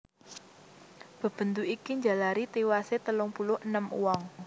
Bebendu iki njalari tiwasé telung puluh enem wong